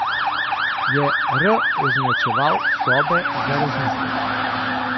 Je R označeval sobe za razmislek?